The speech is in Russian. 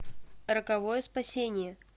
роковое спасение